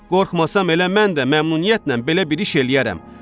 Qorxmasam elə mən də məmnuniyyətlə belə bir iş eləyərəm.